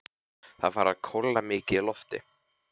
Það er farið að kólna mikið í lofti.